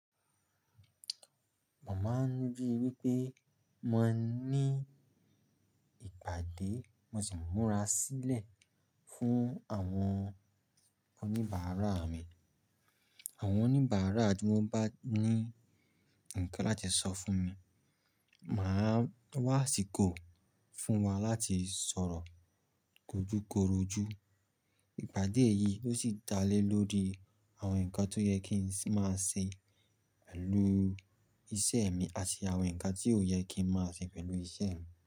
Mo máa ń rí i wí pé mo ní ìpàdé, mo sì ń múra sílẹ̀ fún àwọn oníbàárà mi. Àwọn oníbàárà tí wọ́n bá ní ǹkan láti sọ fún mi, màá wá àsìkò fún wa láti sọ̀rọ̀ kójúkorojù. Ìpàdé yìí ló sì dá lé lórí àwọn ǹkan tó yẹ kí n máa ṣe pẹ̀lú iṣẹ́ mi àti àwọn ǹkan tí ò yẹ kí n máa ṣe pẹ̀lú iṣẹ́ mi.